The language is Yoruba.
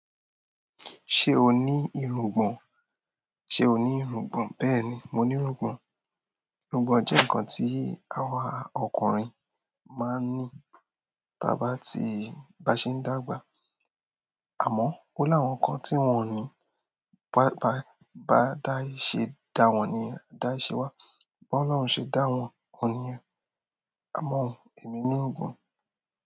Ṣé o ní irungbọ̀n? Ṣé o ní irungbọ̀n? Bẹ́ẹ̀ni, mo ní irungbọ̀n. Irungbọ̀n jẹ́ ǹkan tí àwa ọkùnrin máa ń ní ta bá tí bá ṣe ń dàgbà. Àmọ́, ó láwọn kan tí wọ́n ò ní. Ba ba bá da ì ṣe dáwọn ni, da ì ṣe wá. Bá Ọlọ́run ṣe dáwọn, òun niyen. Àmọ́, èmi ní irungbọ̀n.